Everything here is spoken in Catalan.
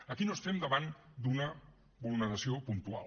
aquí no estem davant d’una vulneració puntual